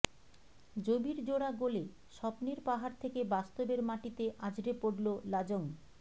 জবির জোড়া গোলে স্বপ্নের পাহাড় থেকে বাস্তবের মাটিতে আছড়ে পড়ল লাজং